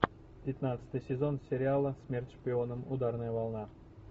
пятнадцатый сезон сериала смерть шпионам ударная волна